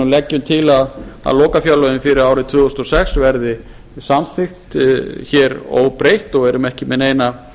leggjum til að lokafjárlögin fyrir árið tvö þúsund og sex verði samþykkt hér óbreytt og erum ekki með neina